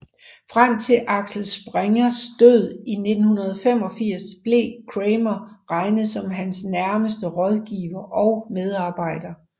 Frem til Axel Springers død i 1985 blev Cramer regnet som hans nærmeste rådgiver og medarbejder